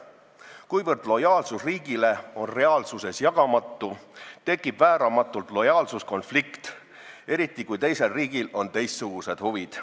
Kuivõrd lojaalsus riigile on reaalsuses jagamatu, tekib vääramatult lojaalsuskonflikt, eriti kui teisel riigil on teistsugused huvid.